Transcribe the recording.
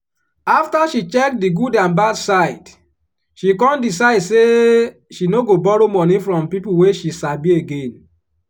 after she check di good and bad side she con decide say she no go borrow money from people wey she sabi again.